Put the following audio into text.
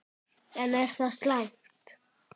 En er það slæmt?